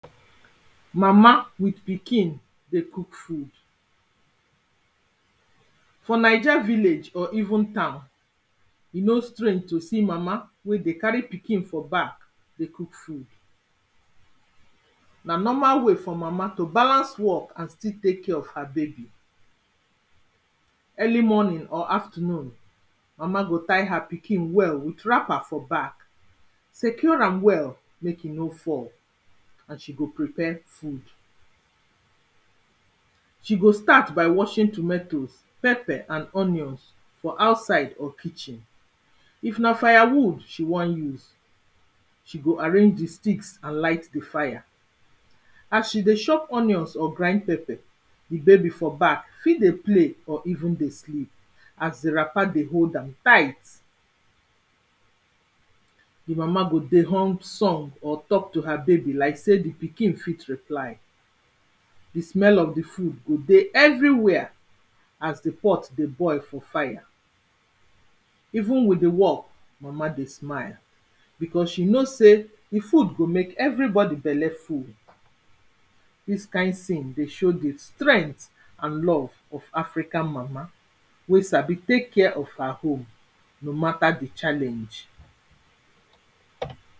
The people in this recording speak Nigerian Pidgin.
Mama with pikin dey cook food, for Naija village or even town e no strange to see mama wey dey carry pikin for back dey cook food na normal way for mama to balance work and still take care of her baby, early morning or afternoon mama go tie her pikin well wrap am for back secure am well make e no fall so dat she go prepare food, she go start by watching tomatoes, pepper and onions for outside or kitchen if na fire she wan use she go arrange di sticks and light di fire as she dey chop onions or grind pepper di baby for back fit dey play or even dey sleep as di wrapper dey hold am tight. Di mama go dey hum song or talk to her baby like sey di pikin fit reply, di smell of di food go dey everywhere as di pot dey boil for fire even with di work mama dey smile becos she know sey di food go make everybody belle full, dis kind scene dey show di strength and love of African mama wey sabi take care of her home no matter di challenge.